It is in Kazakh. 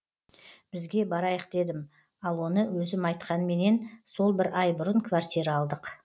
бізге барайық дедім ал оны өзім айтқанменен сол бір ай бұрын квартира алдық